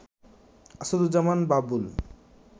Asaduzzaman Babul